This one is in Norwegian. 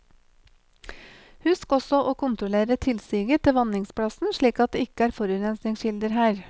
Husk også å kontrollere tilsiget til vanningsplassen, slik at det ikke er forurensningskilder her.